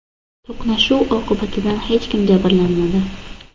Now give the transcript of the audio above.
To‘qnashuv oqibatida hech kim jabrlanmadi.